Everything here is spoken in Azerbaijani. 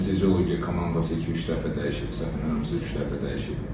Anesteziologiya komandası iki-üç dəfə dəyişibsə, bizə həmişə üç dəfə dəyişib.